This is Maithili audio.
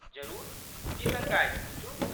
जरूर, की शङ्का अछि, पूछू ?